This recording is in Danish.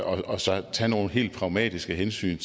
og så tage nogle helt pragmatiske hensyn